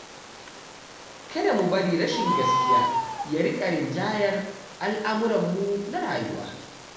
Kada mu bari rashin gaskiya ya riƙa rinjayar al'amuranmu na rayuwa.